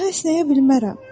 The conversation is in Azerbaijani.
Daha əsnəyə bilmərəm."